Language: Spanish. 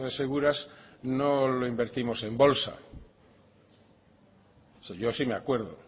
seguras no lo invertimos en bolsa o sea yo sí me acuerdo